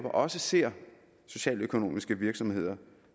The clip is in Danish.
også ser socialøkonomiske virksomheder